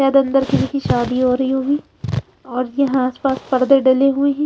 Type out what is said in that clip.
शायद अंदर किसी की शादी हो रही होगी और यहाँ आस पास पर्दे डले हुए हैं।